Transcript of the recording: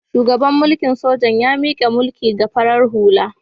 Shugaban mulikn sojan ya mika mulki ga farar hula.